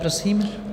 Prosím.